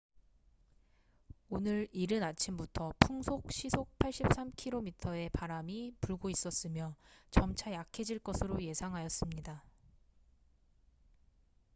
오늘 이른 아침부터 풍속 83km/h의 바람이 불고 있었으며 점차 약해질 것으로 예상하였습니다